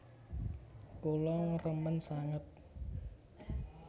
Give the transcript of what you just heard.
Kula remen sanget